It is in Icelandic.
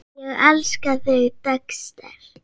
Ég elskaði Dexter.